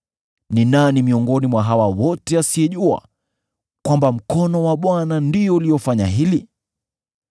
Ni nani miongoni mwa hawa wote asiyejua kwamba mkono wa Bwana ndio uliofanya hili?